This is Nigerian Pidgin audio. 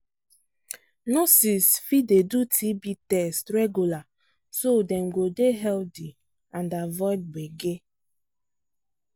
nurses fit dey do tb test regular so dem go dey healthy and avoid gbege.